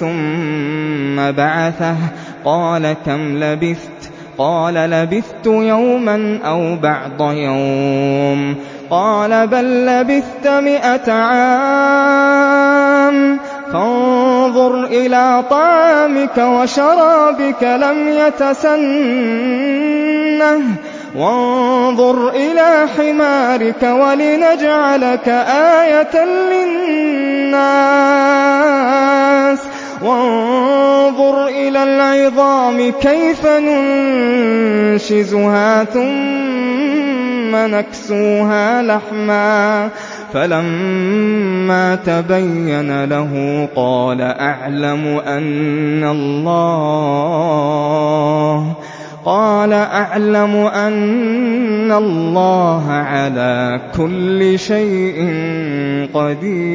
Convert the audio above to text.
ثُمَّ بَعَثَهُ ۖ قَالَ كَمْ لَبِثْتَ ۖ قَالَ لَبِثْتُ يَوْمًا أَوْ بَعْضَ يَوْمٍ ۖ قَالَ بَل لَّبِثْتَ مِائَةَ عَامٍ فَانظُرْ إِلَىٰ طَعَامِكَ وَشَرَابِكَ لَمْ يَتَسَنَّهْ ۖ وَانظُرْ إِلَىٰ حِمَارِكَ وَلِنَجْعَلَكَ آيَةً لِّلنَّاسِ ۖ وَانظُرْ إِلَى الْعِظَامِ كَيْفَ نُنشِزُهَا ثُمَّ نَكْسُوهَا لَحْمًا ۚ فَلَمَّا تَبَيَّنَ لَهُ قَالَ أَعْلَمُ أَنَّ اللَّهَ عَلَىٰ كُلِّ شَيْءٍ قَدِيرٌ